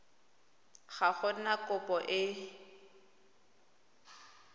ga go na kopo e